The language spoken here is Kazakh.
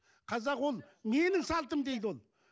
қазақ ол менің салтым дейді ол